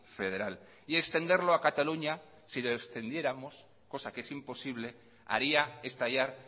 federal y extenderlo a cataluña si lo extendiéramos cosa que es imposible haría estallar